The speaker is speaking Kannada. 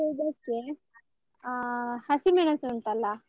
ಇದಕ್ಕೆ ಅ ಹಸಿ ಮೆಣಸು ಉಂಟಲ್ಲ.